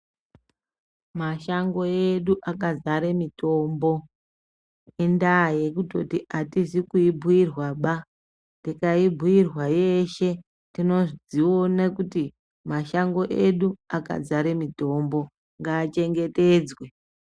Mashango edu akadzara mitombo indaa yekuti atizikuibhuyirwa baa tikaibhuyirwa tinozvioona kuti akadzaara mitombo ngaachengetedzwe